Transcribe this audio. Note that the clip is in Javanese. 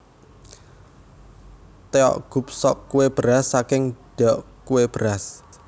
Tteokguk sop kue beras saking ddeok kue beras